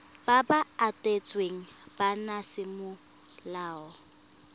ba ba abetsweng bana semolao